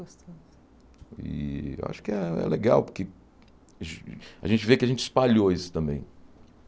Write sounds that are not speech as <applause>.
<unintelligible> E eu acho que é é legal, porque gen a gente vê que a gente espalhou isso também.